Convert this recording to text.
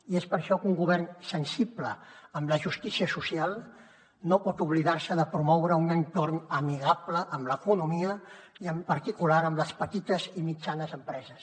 i és per això que un govern sensible amb la justícia social no pot oblidar se de promoure un entorn amigable amb l’economia i en particular amb les petites i mitjanes empreses